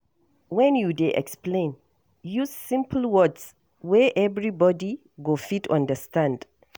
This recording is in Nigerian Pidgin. When you dey explain, use simple words wey everybody go fit understand.